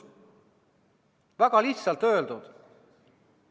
Väga lihtsalt öeldud!